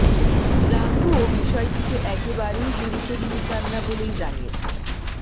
jumbo বিষয়টিকে একেবারেই গুরুত্ব দিতে চান না বলেই জানিয়েছেন